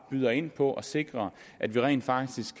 byder ind på at sikre at vi rent faktisk